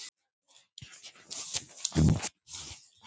Við byrjum eftir tuttugu mín